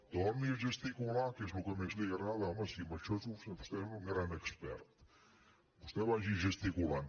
torni a gesticular que és el que més li agrada home si en això és vostè un gran expert vostè vagi gesticulant